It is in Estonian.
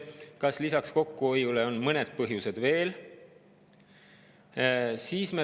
Kas lisaks kokkuhoiule on veel mingeid põhjuseid?